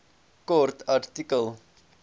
kort artikel